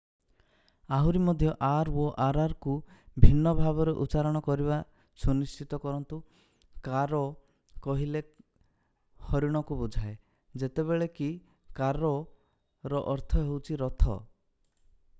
ଆହୁରି ମଧ୍ୟ r ଓ rr କୁ ଭିନ୍ନ ଭାବରେ ଉଚ୍ଚାରଣ କରିବା ସୁନିଶ୍ଚିତ କରନ୍ତୁ: କାରୋ caro କହିଲେ ହରିଣକୁ ବୁଝାଏ ଯେତେବେଳେ କି କାର୍ରୋ carroର ଅର୍ଥ ହେଉଛି ରଥ।